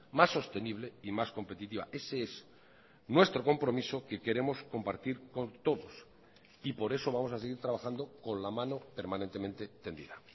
más sostenible y más competitiva ese es nuestro compromiso que queremos compartir con todos y por eso vamos a seguir trabajando con la mano permanentemente tendida